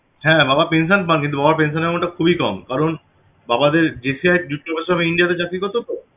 হ্যাঁ বাবা pension পান কিন্তু বাবার pension amount টা খুবই কম কারণ বাবাদের JCI jut corporation of India চাকরি করত তো